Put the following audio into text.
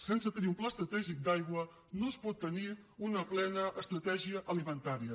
sense tenir un pla estratègic d’aigua no es pot tenir una plena estratègia alimentària